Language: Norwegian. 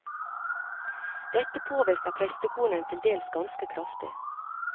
Dette påvirker prestekonen til dels ganske kraftig.